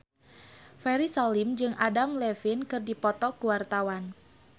Ferry Salim jeung Adam Levine keur dipoto ku wartawan